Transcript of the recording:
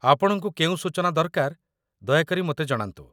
ଆପଣଙ୍କୁ କେଉଁ ସୂଚନା ଦରକାର ଦୟାକରି ମୋତେ ଜଣାନ୍ତୁ